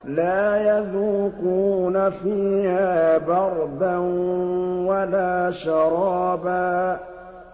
لَّا يَذُوقُونَ فِيهَا بَرْدًا وَلَا شَرَابًا